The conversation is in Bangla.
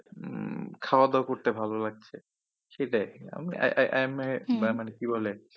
উম খাওয়া দাওয়া করতে ভালো লাগছে। সেটাই আমি এমএ এ মানে কি বলে,